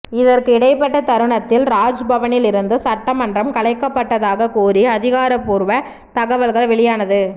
இதற்கு இடைப்பட்ட தருணத்தில் ராஜ்பவனில் இருந்து சட்டமன்றம் கலைக்கப்பட்டதாக கூறி அதிகாரப்பூர்வ தகவல்கள் வெளியானது